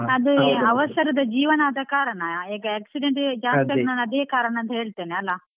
ಅದು ಅವಸರದ ಜೀವನ ಆದ ಕಾರಣ, ಈಗ accident ಜಾಸ್ತಿ ಆಗ್ಲಿಕ್ಕೆ ಅದೇ ಕಾರಣ ಅಂತ ಹೇಳ್ತಿನಿ ಅಲಾ.